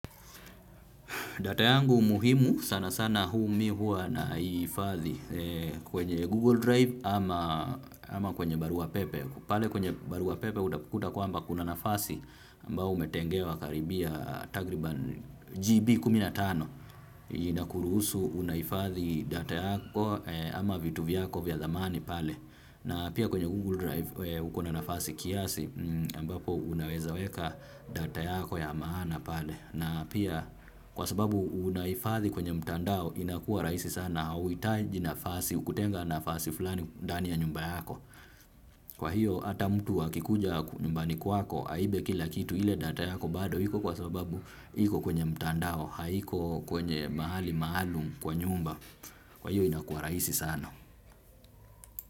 Data yangu muhimu sana sana mimi huwa naihifadhi kwenye Google Drive ama kwenye Barua Pepe. Pale kwenye Barua Pepe utakuta kwamba kuna nafasi ambayo umetengewa karibia. Tagriban GB15. Inakuruhusu unahifadhi data yako ama vitu vyako vya thamani pale. Na pia kwenye Google Drive uko na nafasi kiasi ambapo unaweza weka data yako ya maana pale. Na pia kwa sababu unahifadhi kwenye mtandao inakua rahisi sana. Hauhitaji nafasi kutenga nafasi fulani ndani ya nyumba yako. Kwa hiyo hata mtu akikuja nyumbani kwako aibe kila kitu ile data yako bado iko kwa sababu iko kwenye mtandao haiko kwenye mahali maalum kwa nyumba. Kwa hiyo inakua rahisi sana.